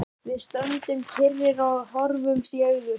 Við stöndum kyrrir og horfumst í augu.